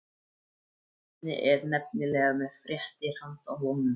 Svenni er nefnilega með fréttir handa honum.